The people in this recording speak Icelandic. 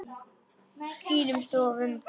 Skýrum stöfum.